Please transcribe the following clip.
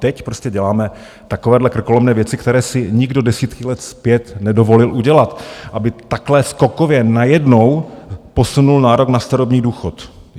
Teď prostě děláme takovéhle krkolomné věci, které si nikdo desítky let zpět nedovolil udělat, aby takhle skokově najednou posunul nárok na starobní důchod.